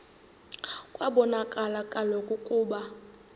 kwabonakala kaloku ukuba